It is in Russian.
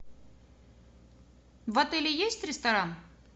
в отеле есть ресторан